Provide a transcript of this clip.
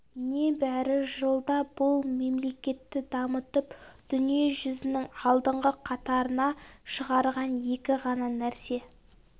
небәрі жылда бұл мемлекетті дамытып дүниежүзінің алдыңғы қатарына шығарған екі ғана нәрсе